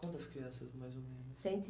Quantas crianças, mais ou menos? Cento e